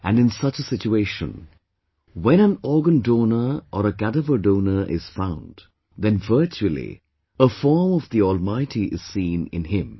And in such a situation, when an organ donor or a cadaver donor is found, then virtually, a form of the Almighty is seen in him